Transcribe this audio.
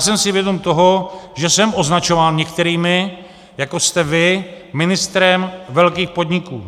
Jsem si vědom toho, že jsem označován některými, jako jste vy, ministrem velkých podniků.